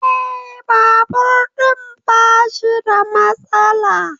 Eh, Babur ɗin bashi da matsala